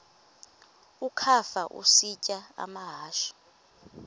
ukafa isitya amahashe